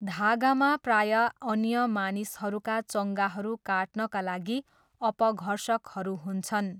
धागामा प्रायः अन्य मानिसहरूका चङ्गाहरू काट्नका लागि अपघर्षकहरू हुन्छन्।